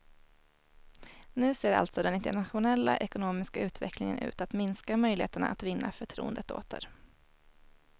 Nu ser alltså den internationella ekonomiska utvecklingen ut att minska möjligheterna att vinna förtroendet åter.